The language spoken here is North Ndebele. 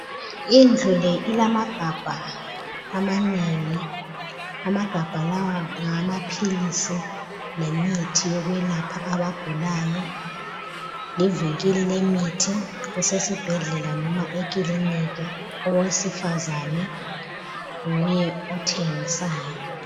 Indlu le ilamagabha amanengi. Amagabha lawa ngawamaphilisi lemithi yokwelapha abagulayo livinkili lemithi esibhedlela noma ekilinika owesifazane nguye othengisayo.